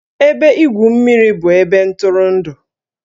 Ebe igwu mmiri bụ ebe ntụrụndụ